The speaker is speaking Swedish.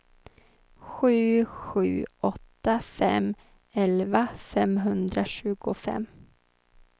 sju sju åtta fem elva femhundratjugofem